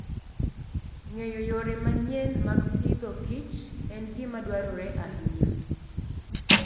Ng'eyo yore manyien mag Agriculture and Fooden gima dwarore ahinya.